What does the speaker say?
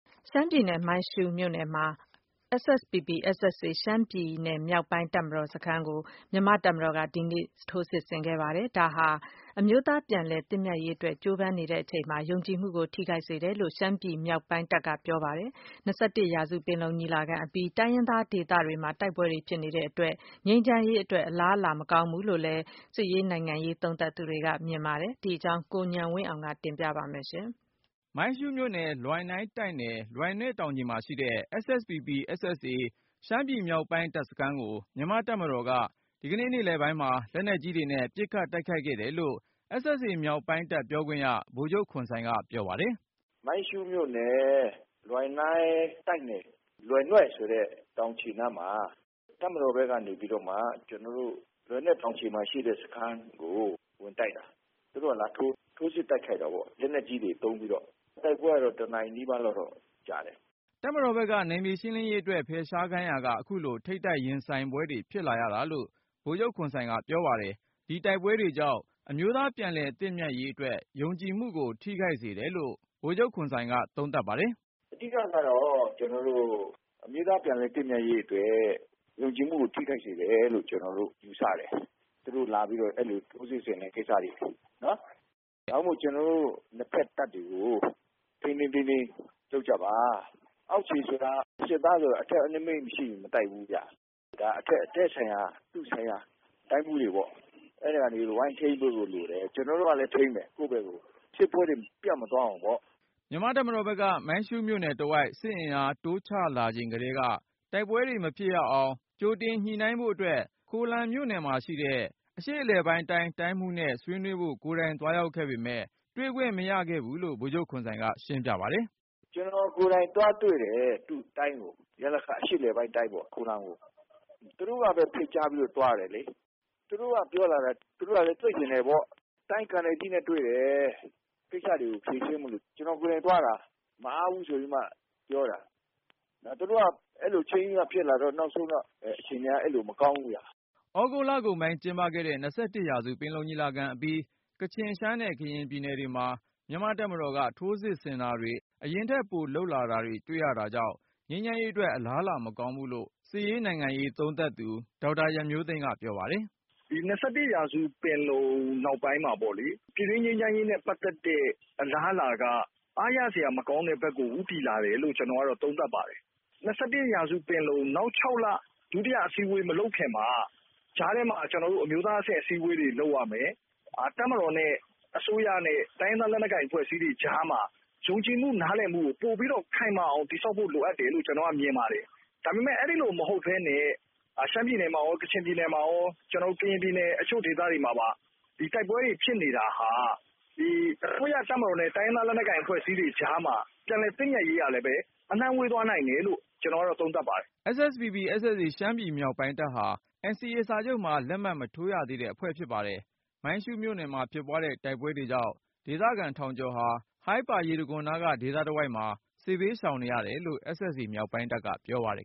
ရှမ်းပြည်နယ် မိုင်းရှုးမြို့နယ်မှာ မြန်မာ့တပ်မတော်က ရှမ်းပြည် မြောက်ပိုင်းတပ်မတော် စခန်းကို ဒီကနေ့ ထိုးစစ်ဆင်ခဲ့ပြီး၊ ဒါဟာ အမျိုးသား ပြန်လည်သင့်မြတ်ရေးအတွက် ကြိုးပမ်းနေချိန်မှာ ယုံကြည်မှုကို ထိခိုက်စေတယ်လို့ရှမ်းပြည်မြောက်ပိုင်းတပ်က ပြောပါတယ်။ ၂၁ ရာစု ပင်လုံညီလာခံအပြီး တိုင်းရင်းသားဒေသတွေမှာ တိုက်ပွဲတွေဖြစ်နေတာကြောင့် ငြိမ်းချမ်းရေးအတွက် အလားအလာမကောင်းဘူး လို့လည်း စစ်ရေးနိုင်ငံရေး သုံးသပ်သူတွေက မြင်ပါတယ်။ ဒီအကြောင်း ကိုဉာဏ်ဝင်းအောင်က တင်ပြပါမယ်။ မိုင်းရှုးမြို့နယ် လွိုင်နိူင်းတိုက်နယ်၊ လွယ်နွဲ့တောင်ခြေမှာရှိတဲ့ SSPP/SSA ရှမ်းပြည်မြောက်ပိုင်းတပ်စခန်းကို မြန်မာ့တပ်မတော်က ဒီကနေ့ နေ့လည်ပိုင်းမှာ လက်နက်ကြီးတွေနဲ့ ပစ်ခတ်တိုက်ခိုက်ခဲ့တယ်လို့SSA မြောက်ပိုင်းတပ် ပြောခွင့်ရ ဗိုလ်ချုပ်ခွန်ဆိုင်က ပြောပါတယ်။ “မိုင်းရှုးမြို့နယ် လွိုင်နိူင်းတိုက်နယ်၊ လွယ်နွဲ့ဆိုတဲ့ တောင်ခြေနားမှာ တပ်မတော်ကနေပြီးတော့မှ လွယ်နွဲ့တောင်ခြေမှာရှိတဲ့ စခန်းကို ဝင်တိုက်တာ၊ သူတို့က ထိုးစစ် တိုက်ခိုက်တာပေါ့၊ လက်နက်ကြီးတွေ သုံးပြီးတော့။ တိုက်ပွဲကတော့ တနာရီနီးပါးလောက်တော့ ကြာတယ်” တပ်မတော်ဖက်က နယ်မြေရှင်းလင်းရေးအတွက် ဖယ်ရှားခိုင်းရာက အခုလို ထိပ်တိုက်ရင်ဆိုင်တိုက်ပွဲတွေ ဖြစ်လာရတာလို့ ဗိုလ်ချုပ်ခွန်ဆိုင် က ပြောပါတယ်။ ဒီတိုက်ပွဲတွေကြောင့် အမျိုးသား ပြန်လည်သင့်မြတ်ရေးအတွက် ယုံကြည်မှုကို ထိခိုက်စေတယ်လို့ဗိုလ်ချုပ်ခွန်ဆိုင်က သုံးသပ်ပါတယ်။ “ အဓိကကတော့ ကျနော်တို့ အမျိုးသားပြန်လည် သင့်မြတ်ရေးအတွက် ယုံကြည်မှုကို ထိခိုက်စေတယ်လို့ ကျနော်တို့ ယူဆတယ်.. သူတို့ လာပြီးတော့ အဲလို ထိုးစစ်ဆင်တဲ့ကိစ္စတွေ။ ဒါကြောင့်မို့ ကျနော်တို့ နှစ်ဖက်တပ်တွေကို ထိန်းထိန်းသိမ်းသိမ်း လုပ်ကြပါ။ အောက်ခြေဆိုတာ စစ်သားဆိုတာက အထက်အမိန့် မရှိရင် မတိုက်ဘူးဗျ။ ဒါ အထက်က သူ့ဆိုင်ရာ တိုင်းမှူးတွေပေါ့၊ အဲဒါတွေ ဝိုင်းထိန်းပေးဖို့ လိုတယ်။ ကျနော် တို့ကလည်း ထိန်းမယ်ကိုယ့်ဖက်ကို။ စစ်ပွဲတွေ ပျံ့မသွားအောင်ပေါ့ ” မြန်မာ့တပ်မတော်ဖက်က မိုင်းရှုးမြို့နယ်တဝိုက် စစ်အင်အားတိုးချလာချိန်ကတည်းက တိုက်ပွဲတွေမဖြစ်ရအောင် ကြိုတင်ညှိနှိုင်းဖို့အတွက် ခိုလမ်မြို့ နယ်မှာရှိတဲ့ ရလခ တိုင်းမှူးနဲ့ ဆွေးနွေးဖို့ ကိုယ်တိုင် သွားရောက်ခဲ့ပေမယ့် တွေ့ခွင့်မရခဲ့ဘူးလို့ ဗိုလ်ချုပ် ခွန်ဆိုင်က ရှင်းပြပါတယ်။ “ ကျနော်ကိုယ်တိုင် သွားတွေ့တယ် သူ့တိုင်းကို၊ ရလခ ပေါ့.. ခိုလမ်ကို။ သူတို့ကပဲ ဖိတ်ကြားလို့ သွားတာလေ။ သူတို့က ပြောလာတာက သူတို့က တွေ့ချင်တယ်ပေါ့။ တိုင်းကာနယ်ကြီးနဲ့ တွေ့တယ်၊ ကိစ္စတွေကို ဖြေရှင်းဖို့ ကျနော်ကိုယ်တိုင် သွားတာ.. မအားဘူး ဆိုပြီးတော့မှ ပြောတာ။ သူတို့က ချိန်းပြီးမှ အဲလိုဖြစ်လာတော့ နောက်ဆုံးတော့ အခြေနေက မကောင်းဘူးဗျ ” သြဂုတ်လကုန်ကျင်းပခဲ့တဲ့ ၂၁ ရာစု ပင်လုံညီလာခံအပြီး ကချင် ရှမ်းနဲ့ ကရင်ပြည်နယ်တွေမှာ မြန်မာ့တပ်မတော်က ထိုးစစ်ဆင်တာတွေ အရင်ထက် ပိုလုပ်လာတာတွေ့ရတာကြောင့် ငြိမ်းချမ်းရေးအတွက် အလားအလာမကောင်းဘူးလို့လည်း စစ်ရေးနိုင်ငံရေး သုံးသပ်သူ ဒေါက်တာ ရန်မျိုးသိမ်းက ပြောပါတယ်။ “ ဒီ ၂၁ ရာစုပင်လုံ နောက်ပိုင်းမှာပေါ့လေ၊ ပြည်တွင်းငြိမ်းချမ်းရေးနဲ့ ပတ်သက်တဲ့ အလားအလာက အားရစရာ မကောင်းတဲ့ဘက်ကို ဦးတည် လာတယ်လို့ ကျနော်သုံးသပ်ပါတယ်။ ၂၁ ရာစုပင်လုံ နောက် ၆လ အစည်းအဝေး မလုပ်ခင်မှာ ကြားထဲမှာ အမျိုးသားအဆင့် အစည်းအဝေးတွေ လုပ်ရမယ်၊ တပ်မတော်နဲ့ အစိုးရနဲ့ တိုင်းရင်းသားလက်နက်ကိုင် အဖွဲ့အစည်းတွေကြားမှာ ယုံကြည်မှု နားလည်မှုကို ပိုပြီးတော့ ခိုင်မာအောင် တည်ဆောက်ဖို့ လိုအပ်တယ်လို့ မြင်ပါတယ်။ ဒါပေမယ့် အဲဒီလို မဟုတ်ပဲနဲ့ ရှမ်းပြည်နယ်မှာရော၊ ကချင်ပြည်နယ် မှာရော ကရင်ပြည်နယ် အချို့ဒေသတွေမှာပါ ဒီတိုက်ပွဲတွေ ဖြစ်နေတာဟာ အစိုးရ၊ တပ်မတော်နဲ့ တိုင်းရင်းသားလက်နက်ကိုင် အဖွဲ့အစည်းတွေ ကြားမှာ ပြန်လည်သင့်မြတ်ရေးဟာလဲ အလှမ်းဝေးသွား နိုင်တယ်လို့ ကျနော်သုံးသပ်ပါတယ် ” SSPP/SSA ရှမ်းပြည်မြောက်ပိုင်းတပ်ဟာ NCA မှာ လက်မှတ်မထိုးရသေးတဲ့ အဖွဲ့ဖြစ်ပါတယ်။ မိုင်းရှုးမြို့နယ်မှာဖြစ်ပွားတဲ့ တိုက်ပွဲတွေကြောင့် ဒေသခံထောင်ကျော်ဟာ ဟိုင်းပါရေတခွန်နားက ဒေသ တဝိုက်မှာ စစ်ဘေးရှောင်နေရတယ်လို့ SSA မြောက်ပိုင်းတပ်က ပြောပါတယ်